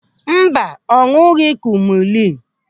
Mba, ọ ñụ̀ghị̀ kumulinu een.